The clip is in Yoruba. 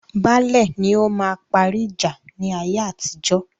Baálẹ̀ ni ọ máa parí ìjà ní ayé atijọ́